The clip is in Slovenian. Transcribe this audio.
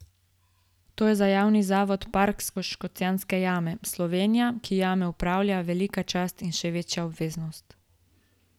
To je za Javni zavod Park Škocjanske jame, Slovenija, ki jame upravlja, velika čast in še večja obveznost.